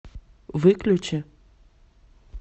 выключи